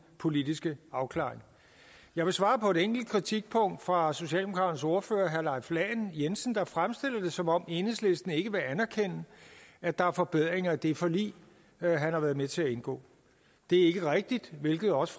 politiske afklaring jeg vil svare på et enkelt kritikpunkt fra socialdemokraternes ordfører herre leif lahn jensen der fremstillede det som om enhedslisten ikke vil anerkende at der er forbedringer i det forlig han har været med til at indgå det er ikke rigtigt hvilket også